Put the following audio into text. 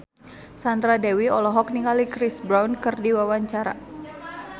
Sandra Dewi olohok ningali Chris Brown keur diwawancara